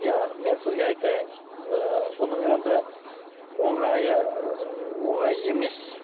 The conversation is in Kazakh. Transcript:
иә мен сізге айтайын ы бұның енді оңайы оңай емес